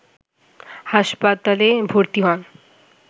হাসপাতলে ভর্তি হন